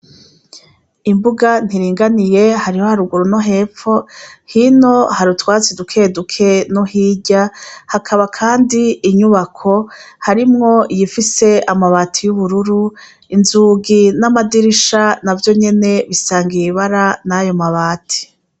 Imbuga ntiringaniye hariho haruguru no hepfo hino hari utwatsi dukeduke no hirya hakaba kandi inyubako harimwo iyifise amabati y'ubururu inzugi n'amadirisha na vyo nyene bisangiye ibara n'ayo mabati.